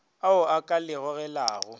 ao a ka le gogelago